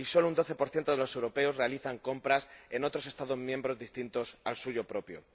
y solo un 12 de los europeos realizan compras en otros Estados miembros distintos al suyo propio.